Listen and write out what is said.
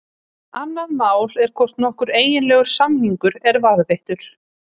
Annað mál er hvort nokkur eiginlegur samningur er varðveittur.